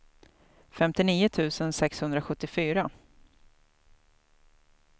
femtionio tusen sexhundrasjuttiofyra